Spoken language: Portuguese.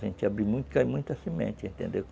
Se a gente abrir muito, cai muita semente, entendeu?